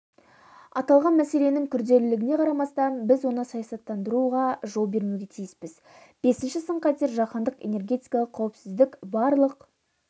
аталған мәселенің күрделілігіне қарамастан біз оны саясаттандыруға жол бермеуге тиіспіз бесінші сын-қатер жаһандық энергетикалық қауіпсіздік барлық